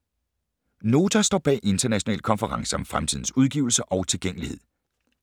Nota står bag international konference om fremtidens udgivelser og tilgængelighed